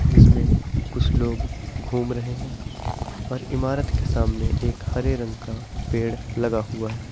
जिसमें कुछ लोग घूम रहे हैं और इमारत के सामने एक हरे रंग का पेड़ लगा हुआ है।